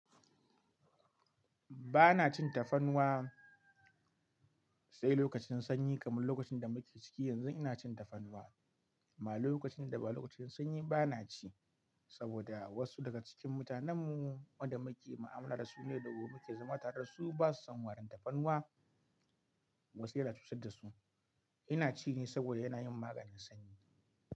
Ba na cin tafarnuwa sai lokacin sanyi kamar lokacin da muke ciki yanzu ina cin tafarnuwa. Amma lokacin da ba lokacin sanyi ba na ci saboda wasu daga cikin mutanen mu wanda muke mu'amala da su na yau da gobe muke zama tare da su ba su san warin tafarnuwa wasu yana cutar da su. Ina ci ne saboda yana yin maganin sanyi.